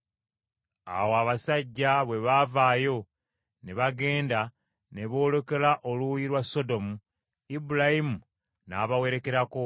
Awo abasajja bwe bavaayo ne bagenda, ne boolekera oluuyi lwa Sodomu ; Ibulayimu n’abawerekerako.